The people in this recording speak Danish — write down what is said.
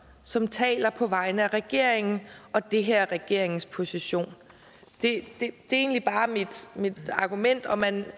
som taler på vegne af regeringen og det her er regeringens position det er egentlig bare mit argument og man